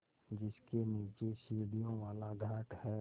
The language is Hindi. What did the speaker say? जिसके नीचे सीढ़ियों वाला घाट है